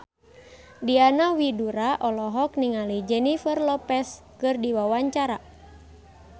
Diana Widoera olohok ningali Jennifer Lopez keur diwawancara